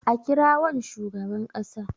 a kirawon shugaban kasa!